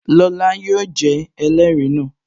Lọla yóò jẹ́ ẹlẹrìí náà